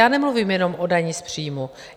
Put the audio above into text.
Já nemluvím jenom o dani z příjmů.